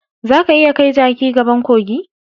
Zaka iya kai jaki gaban kogi.